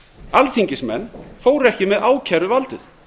alþingismenn fóru ekki með ákæruvaldið